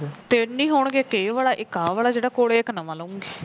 ਤਿੰਨ ਹੀ ਹੋਣਗੇ ਇੱਕ ਇਹ ਵਾਲਾ ਇਕ ਆ ਵਾਲਾ ਜਿਹੜਾ ਕੋਲੇ ਹੈ ਇੱਕ ਨਵਾ ਲਵਾਂਗੀ